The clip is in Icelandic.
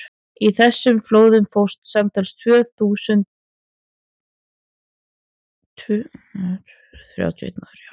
í þessum flóðum fórst samtals tvö hundruð þrjátíu og einn maður